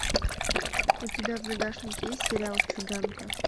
у тебя в загашнике есть сериал циганка